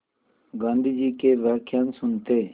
गाँधी जी के व्याख्यान सुनते